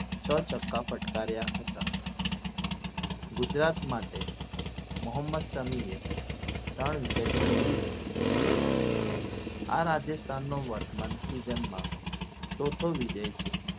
છ છક્કા ફટકાર્યા હતા ગુજરાત માટે મોહમ્મદ સમીએ ત્રણ wicket ઝડપી હતી આ રાજસ્થાનનો વટ સ્વામી ચોથો વિજય છે.